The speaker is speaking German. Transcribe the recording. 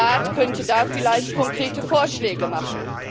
Der Rat könnte da vielleicht konkrete Vorschläge machen.